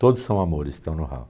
Todos são amores, estão no ralo.